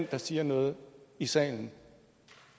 der siger noget i salen